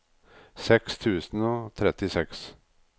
seks tusen og trettiseks